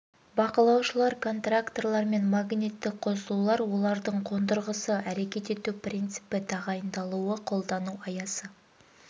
бақылаушылар контакторлар және магниттік қосулар олардың қондырғысы әрекет ету принципі тағайындалуы қолдану аясы